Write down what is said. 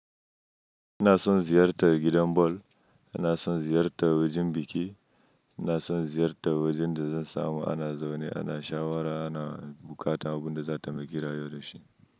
Ina son ziyartar gidan bol, ina son ziyartar wajen biki, ina son ziyartar wajen da zan samu ana zaune, ana shawara, ana bukata, abun da za'a taimaki rayuwa dashi.